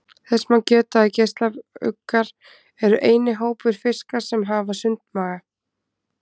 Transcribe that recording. Þess má geta að geislauggar eru eini hópur fiska sem hafa sundmaga.